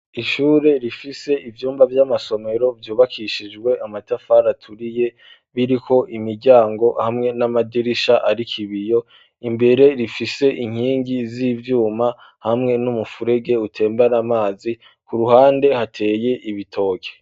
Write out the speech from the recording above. Ishure rifise ivyumba vy'amasomero vyubakishijwe amatafari aturiye biriko imiryango hariko n'amadirisha afise ibiyo, imbere ifise inkingi z'ivyuma hamwe n'umuferege utembera amazi, ku ruhande hateye igitoke.